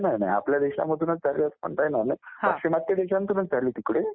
नाही नाही आपल्या देशामधूनच झाली असं म्हणता येणार नाही, पाश्चिमात्य देशातूनच झाली तिकडे